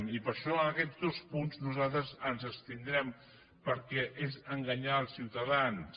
i per això en aquests dos punts nosaltres ens abstindrem perquè és enganyar els ciutadans